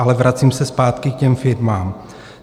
Ale vracím se zpátky k těm firmám.